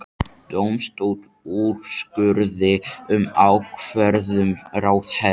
Dómstóll úrskurði um ákvörðun ráðherra